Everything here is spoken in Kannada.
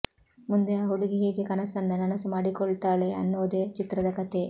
ಮುಂದೆ ಆ ಹುಡುಗಿ ಹೇಗೆ ಕನಸನ್ನ ನನಸು ಮಾಡಿಕೊಳ್ತಾಳೆ ಅನ್ನೋದೇ ಚಿತ್ರದ ಕಥೆ